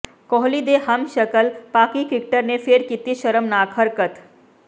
ਕੋਹਲੀ ਦੇ ਹਮਸ਼ਕਲ ਪਾਕਿ ਕ੍ਰਿਕਟਰ ਨੇ ਫਿਰ ਕੀਤੀ ਸ਼ਰਮਨਾਕ ਹਰਕਤ